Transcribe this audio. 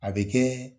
A bɛ kɛ